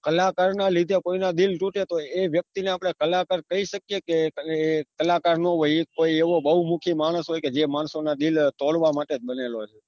કલાકારને લીધે કોઈના દિલ તુટે કોઈ એ વ્યક્તી ને આપને કલાકાર કહી શકીએ કે તમે એક કલાકાર નો એક હોય એવો બહુ મુખી માનસ હોય જે માણસો ના દિલ તોડવા માટે જ બનેલો હોય